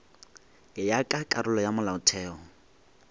ya ka karolo ya molaotheo